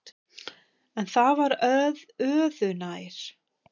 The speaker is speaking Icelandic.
En það var öðu nær.